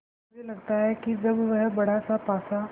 मुझे लगता है कि जब वह बड़ासा पासा